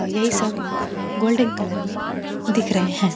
और यही सब गोल्डन कलर में दिख रहे हैं।